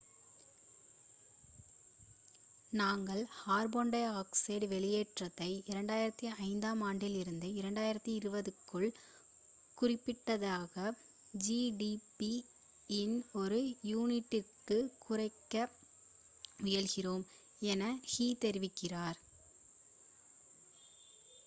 """நாங்கள் carbon dioxide வெளியேற்றத்தை 2005 ஆம் ஆண்டிலிருந்து 2020 க்குள் குறிப்பிடத்தக்க ஜி. டி. பி இன் ஒரு யூனிட்டிருக்கு குறைக்க முயல்கிறோம்" என ஹு தெரிவித்தார்.